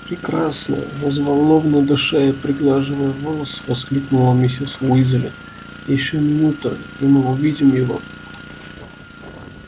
прекрасно взволнованно дыша и приглаживая волосы воскликнула миссис уизли ещё минута и мы увидим его